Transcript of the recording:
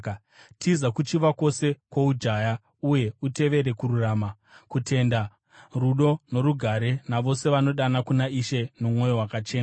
Tiza kuchiva kwose kwoujaya, uye utevere kururama, kutenda, rudo norugare navose vanodana kuna Ishe nomwoyo wakachena.